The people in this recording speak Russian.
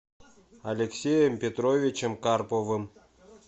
алексеем петровичем карповым